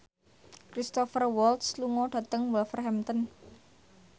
Cristhoper Waltz lunga dhateng Wolverhampton